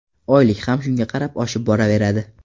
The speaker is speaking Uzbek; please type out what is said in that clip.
Oylik ham shunga qarab oshib boraveradi.